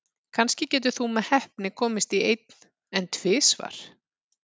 Kannski getur þú með heppni komist í einn, en tvisvar?